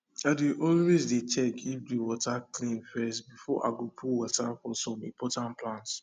i dey always dey check if de water clean first before i go put water for som important plants